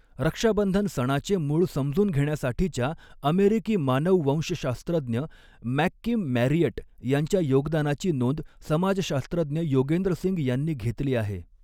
रक्षाबंधन सणाचे मूळ समजून घेण्यासाठीच्या अमेरिकी मानववंशशास्त्रज्ञ मॅककिम मॅरियट यांच्या योगदानाची नोंद समाजशास्त्रज्ञ योगेंद्र सिंग यांनी घेतली आहे.